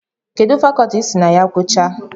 Kedụ fakọtị isi na ya guchaa?